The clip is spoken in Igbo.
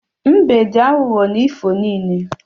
Mbe dị aghughọ na ifo niile